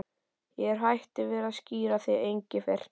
Ég er hættur við að skíra þig Engifer.